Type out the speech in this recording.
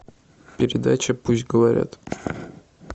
передача пусть говорят